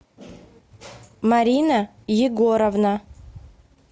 марина егоровна